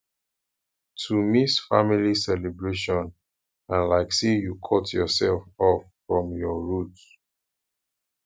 to miss family celebration na like sey you cut yoursef off from your roots